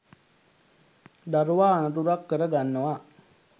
දරුවා අනතුරක් කර ගන්නවා.